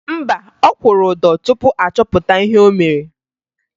Mba, ọ kwụrụ ụdọ tupu a chọpụta ihe o mere